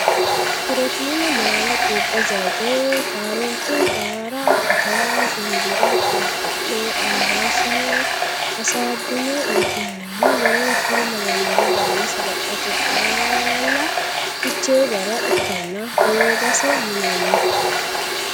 Pirootiine maala quuphe zayte kaaroote qaara atara shumbura qulxu me ambaashshanna hasaabbine uytinoonni woleno kuri lawannore baala sagalete qaalla fiche gara ikkanna hoogase yinanni.